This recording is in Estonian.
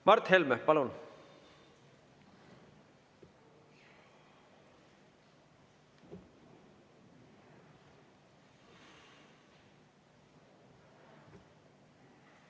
Mart Helme, palun!